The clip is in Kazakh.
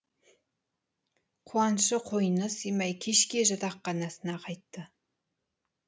қуанышы қойнына сыймай кешке жатақханасына қайтты